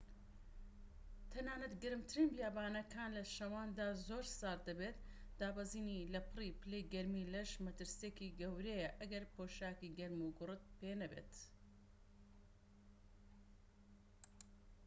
تەنانەت گەرمترین بیابانەکان لە شەواندا زۆر سارد دەبێت دابەزینی لەپڕی پلەی گەرمی لەش مەترسیەکی گەورەیە ئەگەر پۆشاکی گەرموگوڕت پێنەبێت